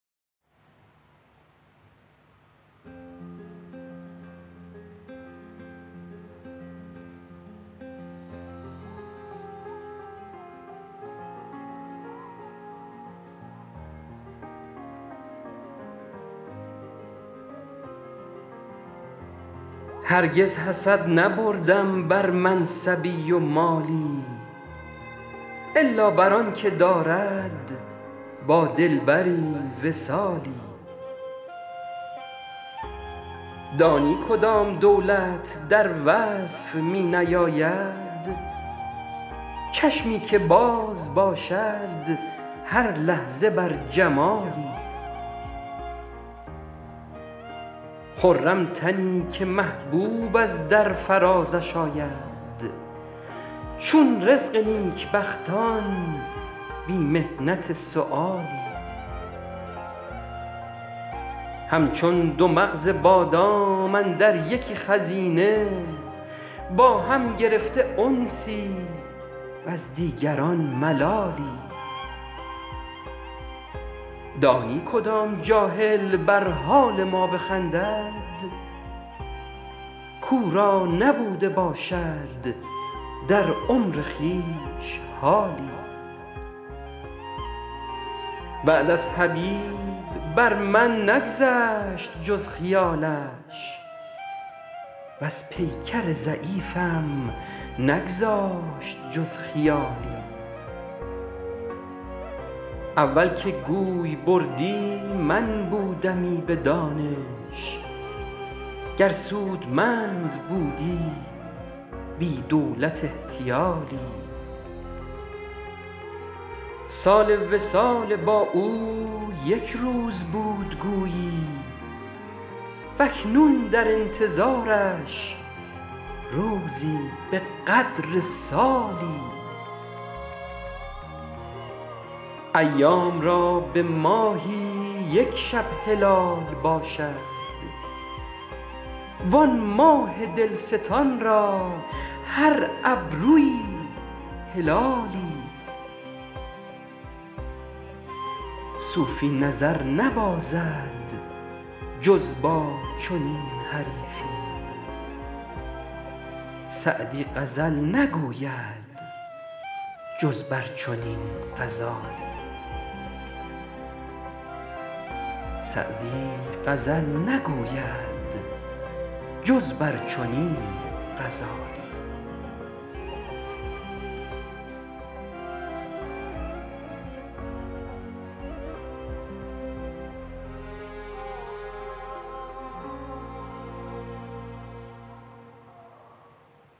هرگز حسد نبردم بر منصبی و مالی الا بر آن که دارد با دلبری وصالی دانی کدام دولت در وصف می نیاید چشمی که باز باشد هر لحظه بر جمالی خرم تنی که محبوب از در فرازش آید چون رزق نیکبختان بی محنت سؤالی همچون دو مغز بادام اندر یکی خزینه با هم گرفته انسی وز دیگران ملالی دانی کدام جاهل بر حال ما بخندد کاو را نبوده باشد در عمر خویش حالی بعد از حبیب بر من نگذشت جز خیالش وز پیکر ضعیفم نگذاشت جز خیالی اول که گوی بردی من بودمی به دانش گر سودمند بودی بی دولت احتیالی سال وصال با او یک روز بود گویی و اکنون در انتظارش روزی به قدر سالی ایام را به ماهی یک شب هلال باشد وآن ماه دلستان را هر ابرویی هلالی صوفی نظر نبازد جز با چنین حریفی سعدی غزل نگوید جز بر چنین غزالی